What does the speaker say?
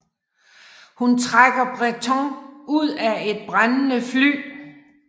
Hun trækker Bretton ud af et brændende fly